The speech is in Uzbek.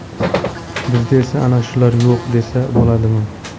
Bizda esa ana shular yo‘q” desa bo‘ladimi.